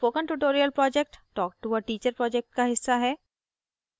spoken tutorial project talktoa teacher project का हिस्सा है